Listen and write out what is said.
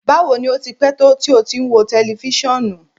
Bawo ni o ti pẹ to ti o ti n wo tẹlifisiọnu?